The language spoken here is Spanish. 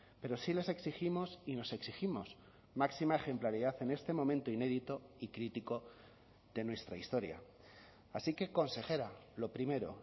pero sí les exigimos y nos exigimos máxima ejemplaridad en este momento inédito y crítico de nuestra historia así que consejera lo primero